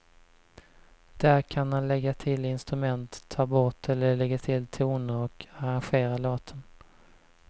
Där kan han lägga till instrument, ta bort eller lägga till toner och arrangera låten.